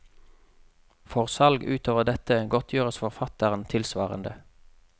For salg utover dette godtgjøres forfatteren tilsvarende.